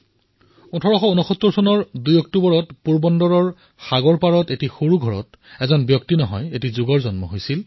২ October ১৮৬৯ চনত পোৰবন্দৰত সমুদ্ৰ তটত আজি যাক আমি কীৰ্তি মন্দিৰ বুলি কওঁ সেই সৰু ঘৰটোত এজন ব্যক্তিৰ নহয় এটা যুগৰ জন্ম হৈছিল